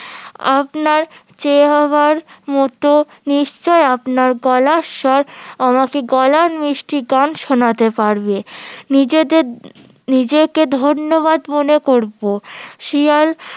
আপনার চেহারার মতো নিশ্চই আপনার গলার স্বর আমাকে গলার মিষ্টি গান শোনাতে পারবে নিজেরদের নিজেকে ধন্যবান মনে করবো শিয়াল